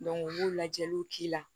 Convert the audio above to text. u b'u lajɛliw k'i la